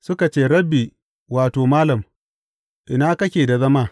Suka ce, Rabbi wato, Malam, ina kake da zama?